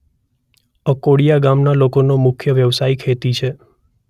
અકોડીયા ગામના લોકોનો મુખ્ય વ્યવસાય ખેતી છે.